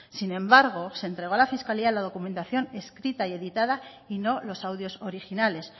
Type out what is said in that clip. sin embargo se entregó a la fiscalía la documentación escrita y editada y no los audios originales